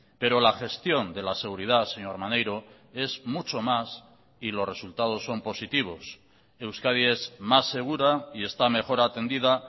pero la gestión de la seguridad señor maneiro es mucho más y los resultados son positivos euskadi es más segura y está mejor atendida